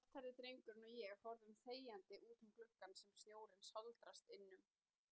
Svarthærði drengurinn og ég horfum þegjandi útum gluggann sem snjórinn sáldrast innum.